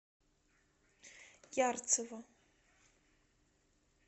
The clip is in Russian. ярцево